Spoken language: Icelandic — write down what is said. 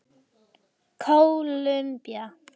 Kólumbía